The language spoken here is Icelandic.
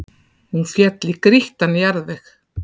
Hún féll í grýttan jarðveg